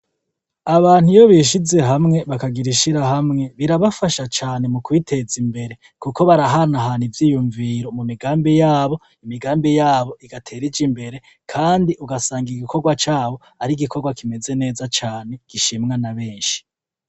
Abantu iyo bishize hamwe bakagira ishirahamwe birabafasha cane mu kwiteza imbere, kuko barahanahana ivyiyunviro mu migambi yabo imigambi yabo igatera ija imbere kandi ugasanga igikorwa cabo ari igikorwa kimeze neza cane gishimwa na benshi.